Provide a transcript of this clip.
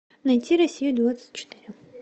найти россию двадцать четыре